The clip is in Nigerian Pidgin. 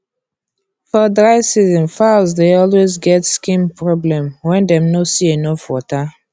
for dry season fowls dey always get skin problem wen dem no see enough water